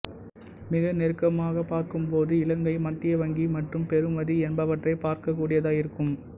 மிக நெருக்கமாகப் பார்க்கும்போது இலங்கை மத்திய வங்கி மற்றும் பெறுமதி என்பவற்றை பார்க்கக்கூடியதாயிருக்கும்